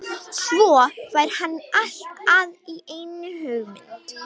Svo fær hann allt í einu hugmynd.